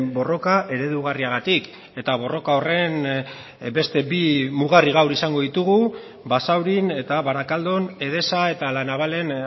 borroka eredugarriagatik eta borroka horren beste bi mugarri gaur izango ditugu basaurin eta barakaldon edesa eta la navalen